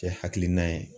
Cɛ hakilina ye